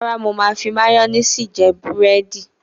Rárá, mo máa ń fi máyónísì jẹ búrẹ́dì.